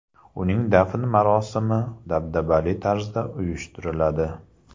Uning dafn marosimi dabdabali tarzda uyushtiriladi.